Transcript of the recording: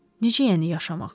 Necə yəni yaşamaq?